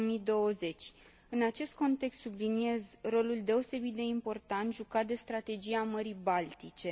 2020. În acest context, subliniez rolul deosebit de important jucat de strategia Mării Baltice.